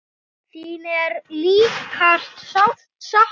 Þín er líka sárt saknað.